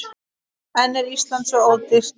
En er Ísland svo ódýrt?